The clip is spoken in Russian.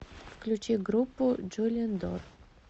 включи группу джулиен дор